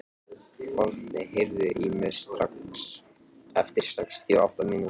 Forni, heyrðu í mér eftir sextíu og átta mínútur.